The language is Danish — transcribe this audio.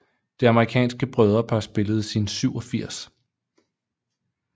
Det amerikanske brødrepar spillede sin 87